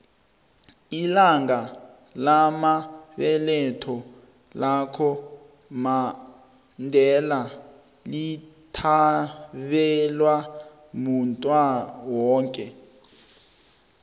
ilanga lamabeletho laka mandela lithabelwa muntuwoke